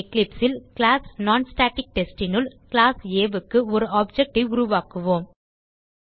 Eclipse ல் class non static test னுள் class ஆ க்கு ஒரு ஆப்ஜெக்ட் உருவாக்குவோம்